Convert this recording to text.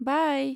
बाइ!